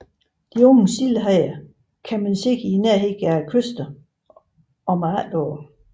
De unge sildehajer kan man se i nærheden af kysterne om efteråret